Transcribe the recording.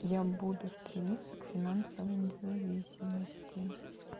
я буду стремиться к финансовой независимости